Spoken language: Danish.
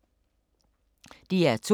DR2